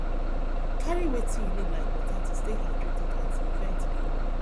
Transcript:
carry wetin you need like water to stay hydrated as di event dey on